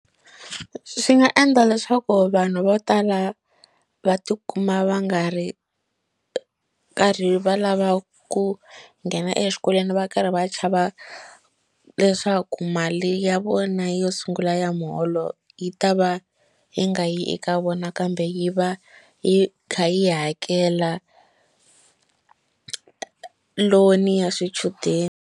Swi nga endla leswaku vanhu vo tala va tikuma va nga ri karhi va lava ku nghena exikolweni va karhi va chava leswaku mali ya vona yo sungula ya muholo yi ta va yi nga yi eka vona kambe yi va yi kha yi hakela loan ya swichudeni.